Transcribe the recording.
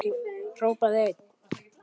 Hrópaði einn: